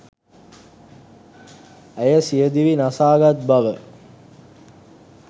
ඇය සියදිවි නසාගත් බව